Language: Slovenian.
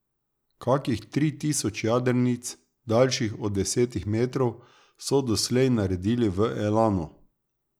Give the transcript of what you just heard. Kakih tri tisoč jadrnic, daljših od desetih metrov, so doslej naredili v Elanu.